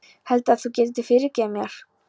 Heldurðu að þú getir fyrirgefið mér?